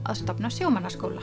að stofna sjómannaskóla